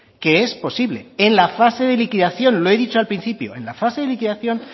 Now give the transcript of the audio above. que es posible en la fase de liquidación lo he dicho al principio en la fase de liquidación